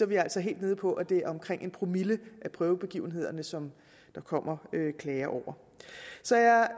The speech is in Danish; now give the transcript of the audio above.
vi altså helt nede på at det er omkring en promille af prøvebegivenhederne som der kommer klager over så jeg